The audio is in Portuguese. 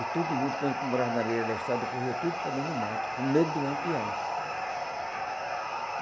E todo mundo, quando morava na beira da estrada, corria tudo para dentro do mato, com medo de Lampião.